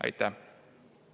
Aitäh!